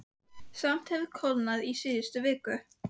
Samt hefur kólnað í síðustu viku.